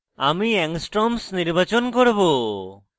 আমি angstroms নির্বাচন করব